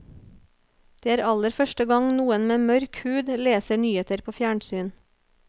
Det er aller første gang noen med mørk hud leser nyheter på fjernsyn.